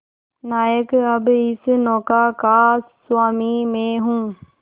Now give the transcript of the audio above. नायक अब इस नौका का स्वामी मैं हूं